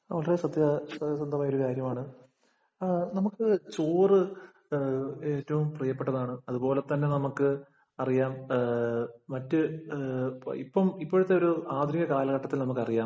വളരെ സത്യസന്ധമായ ഒരു കാര്യമാണ്. നമുക്ക് ചോറ് ഏറ്റവും പ്രിയപ്പെട്ടതാണ്. അതുപോലെ നമുക്ക് അറിയാം മറ്റ് ഇപ്പം ഇപ്പോഴത്തെ ഒരു ആധുനിക കാലഘട്ടത്തില്‍ നമുക്കറിയാം